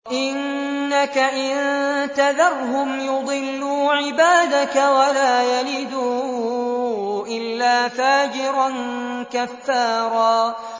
إِنَّكَ إِن تَذَرْهُمْ يُضِلُّوا عِبَادَكَ وَلَا يَلِدُوا إِلَّا فَاجِرًا كَفَّارًا